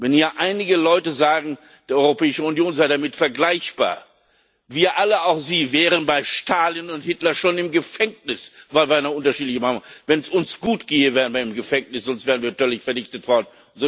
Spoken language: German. Wenn hier einige Leute sagen, die Europäische Union sei damit vergleichbar wir alle, auch Sie, wären bei Stalin und Hitler schon im Gefängnis, weil wir eine unterschiedliche Meinung haben! Wenn es uns gut ginge, wären wir im Gefängnis, sonst wären wir völlig vernichtet worden.